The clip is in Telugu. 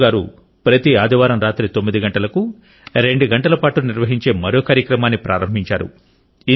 సేదు గారు ప్రతి ఆదివారం రాత్రి 9 గంటలకు రెండు గంటల పాటు నిర్వహించే మరో కార్యక్రమాన్ని ప్రారంభించారు